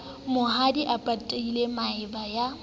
mahodi a patile maeba ya